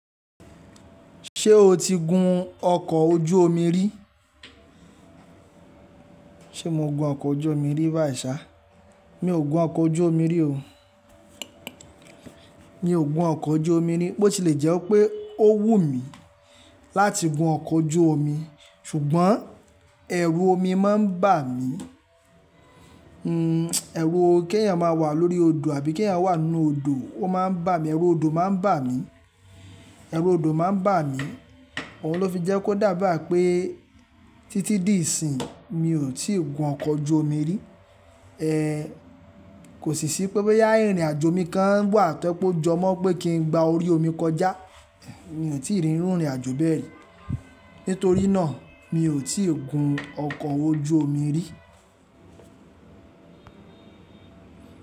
Ṣé o ti gun ọkọ̀ ojú omi rí? Ṣe mo gun ọkọ̀ ojú omi rí báìṣá? Mi ò gun ọkọ̀ ojú omi rí o. Mi ò gun ọkọ̀ ojú omi rí, bó ti lè jẹ́ pé ó wù mí láti gun ọkọ̀ ojú omi, ṣùgbọ́n ẹrù omi má ń bà mí. Hmm, ẹ̀rù kí ẹ̀yin má wà lórí odò àbí kí ẹ̀yin wà nínú odò, ó má ń bà mí, ẹ̀rù odò má ń bà mí, ẹ̀rù odò má ń bà mí. Òhun ló fi jẹ́ kó dàbà pé títí di ìsìn mi ò tí ì gun ọkọ̀ ojú omi rí. Kò sì ṣí pé boyà ìrìnàjò mi kan wà tó jẹ po jọ mọ́ pé kí n gba orí omi kọjá, mi ò tí ì rín irú ìrìnàjò bẹ́ẹ̀ rí. Nítorí náà mi ò tí ì gun ọkọ̀ ojú omi rí.